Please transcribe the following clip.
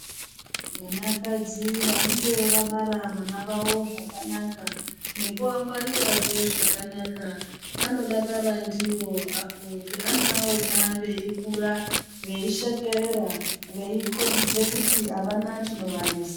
Vanakadzi vanenge vabara vana vavo zvakanaka nekuvangwarirazve zvakanaka anodakara ndiwo apo peanoawona veikura veishekerera veikombidza kuti avana chinovanesa.